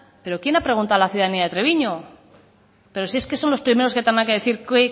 pero quién ha preguntado a la ciudadanía de treviño pero si es que son los primeros que tendrán que decir qué